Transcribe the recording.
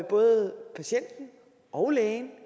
både patienten og lægen